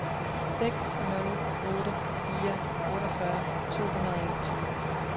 seks nul otte fire otteogfyrre to hundrede og enogtyve